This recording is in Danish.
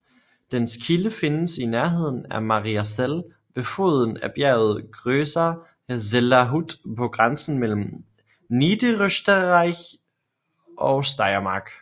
Dens kilde findes i nærheden af Mariazell ved foden af bjerget Großer Zellerhut på grænsen mellem Niederösterreich og Steiermark